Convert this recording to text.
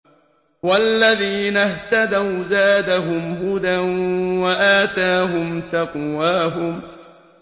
وَالَّذِينَ اهْتَدَوْا زَادَهُمْ هُدًى وَآتَاهُمْ تَقْوَاهُمْ